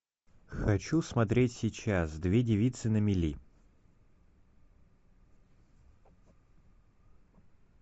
хочу смотреть сейчас две девицы на мели